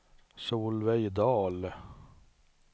Solveig Dahl